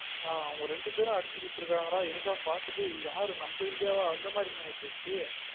அவங்க ரெண்டு பேரும் அடிச்சு குடுதிருகாங்கடா எனக்குன பாத்திட்டு யாரு நம்ம இந்தியாவா அப்டின்னு அந்த மாறி ஆயிடுச்சு